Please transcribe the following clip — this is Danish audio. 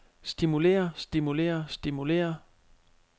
stimulerer stimulerer stimulerer